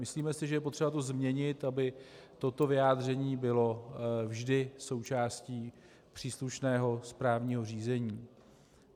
Myslíme si, že je to potřeba změnit, aby toto vyjádření bylo vždy součástí příslušného správního řízení.